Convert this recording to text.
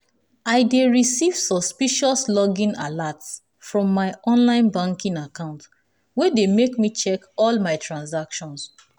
i dey receive suspicious login alerts from my online banking account wey dey make me check all my transactions.